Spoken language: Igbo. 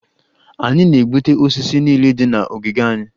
Anyị na-egbutu osisi niile dị na ogige anyị